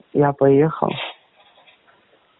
я поехал